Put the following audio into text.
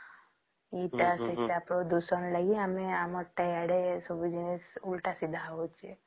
ଏଇଟା ସେଇଟା ପ୍ରଦୂଷଣ ଲାଗି ଆମର ସବୁ ଜିନିଷ ଓଲଟା ସିଧା ହଉଛେ